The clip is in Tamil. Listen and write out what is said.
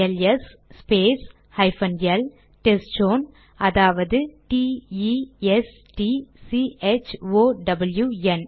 LS space hyphen L test zone அதாவது D E S T C H O W என்